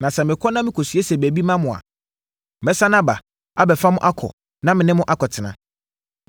Na sɛ mekɔ na mekɔsiesie baabi ma mo a, mɛsane aba abɛfa mo akɔ na me ne mo akɔtena.